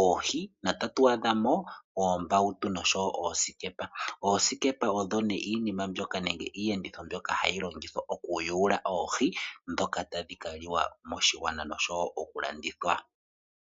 oohi notatu adhamo oombautu oshowo oosikepa . Oosikepa odho iiyenditho mbyoka hayi longithwa moku yula oohi ndhoka tadhi kaliwa moshigwana oshowo oku landithwa